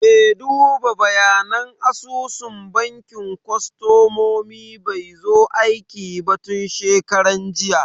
Me duba bayanan asusun bankin kostomomi bai zo aiki ba tun shekaran jiya.